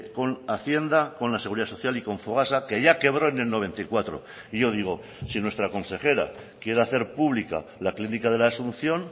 con hacienda con la seguridad social y con fogasa que ya quebró en el noventa y cuatro y yo digo si nuestra consejera quiere hacer pública la clínica de la asunción